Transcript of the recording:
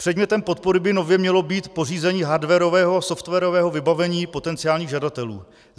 Předmětem podpory by nově mělo být pořízení hardwarového a softwarového vybavení potenciálních žadatelů.